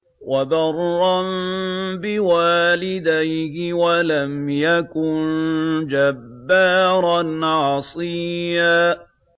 وَبَرًّا بِوَالِدَيْهِ وَلَمْ يَكُن جَبَّارًا عَصِيًّا